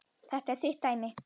Þetta er þitt dæmi.